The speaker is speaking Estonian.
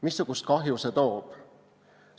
Missugust kahju see toob?